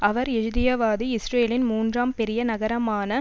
அவர் எழுதியதாவது இஸ்ரேலின் மூன்றாம் பெரிய நகரமான